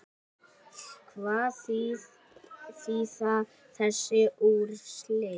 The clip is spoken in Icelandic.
Hvað þýða þessi úrslit?